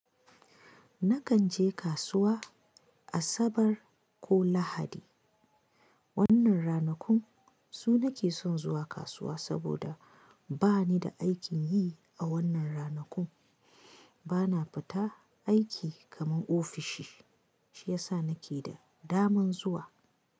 Nakan je kasuwa Asabar ko Lahadi. Wannan ranakun su nake son zuwa kasuwa saboda bani da aikin yi a wannan ranakun. Bana fita aiki kaman ofishi shiyasa nake da daman zuwa.